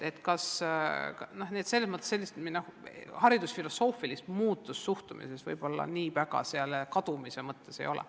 Nii et selles mõttes haridusfilosoofilist muutust suhtumises võib-olla ei ole.